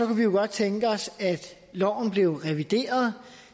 vi jo godt tænke os at loven blev revideret